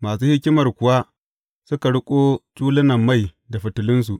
Masu hikimar kuwa suka riƙo tulunan mai da fitilunsu.